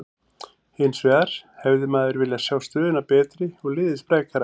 Hinsvegar hefði maður viljað sjá stöðuna betri og liðið sprækara.